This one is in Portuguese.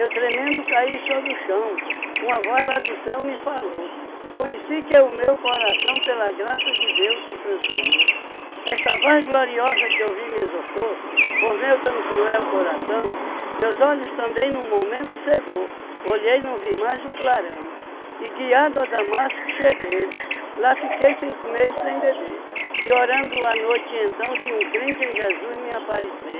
Eu tremendo caí sobre o chão Uma voz lá do céu me falou Conheci que é o meu coração Pela graça de Deus se transformou Esta voz gloriosa que eu vi me exortou Por meu tão cruel coração Meus olhos também num momento cegou Olhei e não vi mais o clarão E guiado a Damasco cheguei Lá fiquei cinco meses sem beber E orando a noite então Vi um crente em Jesus me aparecer